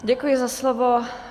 Děkuji za slovo.